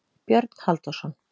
Björn Halldórsson.